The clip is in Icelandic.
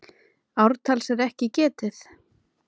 Ártals er ekki getið.